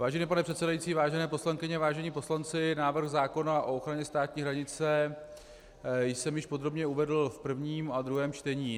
Vážený pane předsedající, vážené poslankyně, vážení poslanci, návrh zákona o ochraně státní hranice jsem již podrobně uvedl v prvním a druhém čtení.